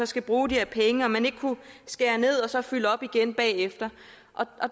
skal bruge de her penge om man ikke kunne skære ned og så fylde op igen bagefter